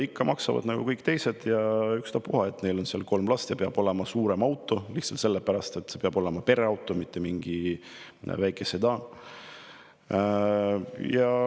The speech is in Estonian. Ikka maksavad nagu kõik teised, vaatamata sellele, et neil on kolm last ja neil peab olema suurem auto, peab olema pereauto, neil ei saa olla mingi väike sedaan.